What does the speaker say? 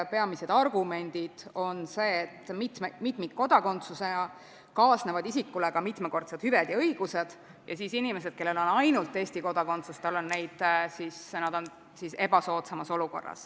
Peamised argumendid on, et mitmikkodakondsusega kaasnevad isikule ka mitmekordsed hüved ja õigused ning inimesed, kellel on ainult Eesti kodakondsus, on siis ebasoodsamas olukorras.